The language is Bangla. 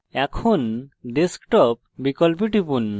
এখন desktop বিকল্পে টিপুন